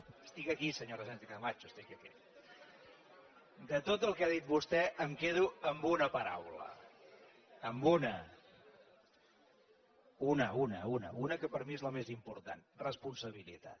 estic aquí senyora sánchez camacho estic aquí de tot el que ha dit vostè em quedo amb una paraula amb una una una una que per mi és la més important responsabilitat